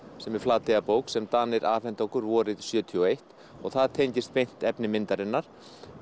sem er Flateyjarbók sem Danir afhentu okkur sjötíu og eitt og það tengist beint efni myndarinnar